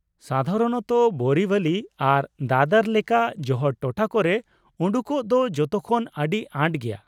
ᱥᱟᱫᱷᱟᱨᱚᱱᱚᱛᱚ, ᱵᱳᱨᱤᱵᱷᱟᱞᱤ ᱟᱨ ᱫᱟᱫᱚᱨ ᱞᱮᱠᱟ ᱡᱚᱦᱚᱲ ᱴᱚᱴᱷᱟ ᱠᱚᱨᱮ ᱩᱰᱩᱠᱚᱜ ᱫᱚ ᱡᱚᱛᱚ ᱠᱷᱚᱱ ᱟᱹᱰᱤ ᱟᱸᱴ ᱜᱮᱭᱟ ᱾